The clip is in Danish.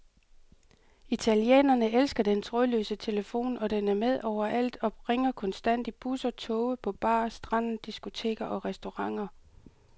Italienerne elsker den trådløse telefon, og den er med overalt og ringer konstant i busser, toge, på bar, stranden, diskoteker og restauranter.